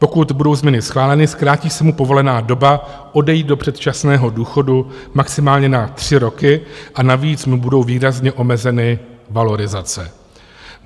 Pokud budou změny schváleny, zkrátí se mu povolená doba odejít do předčasného důchodu maximálně na tři roky a navíc mu budou výrazně omezeny valorizace.